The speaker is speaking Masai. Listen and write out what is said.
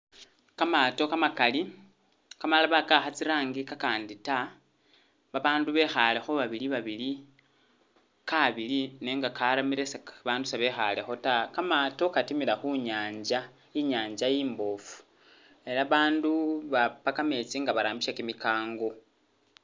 Kamaato kamakali, kamalala wakawakha tsi'rangi kakandi ta, babandu bekhaale kho babili babili, kaabile nenga akaramire seka, abandu se bekhaale kho taa, kamaato katimila khu nyanza, inyanza imbofu ela abandu baapa kametsi nga barambisa kimikango.